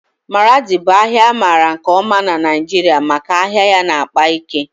Maradi bụ ahịa amaara nke ọma na Naịjirịa maka ahịa ya na-akpa ike